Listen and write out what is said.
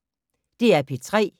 DR P3